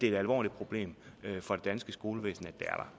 et alvorligt problem for det danske skolevæsen